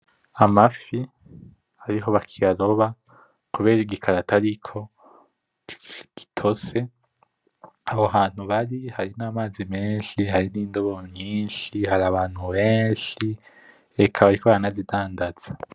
Amafi ariho bakiyaroba kubera igikarato ariko gitose aho hantu bari hari namazi menshi nindobo nyinshi harabantu benshi eka bariko baranazidandaza.